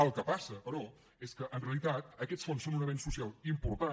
el que passa però és que en realitat aquests fons són un avenç social important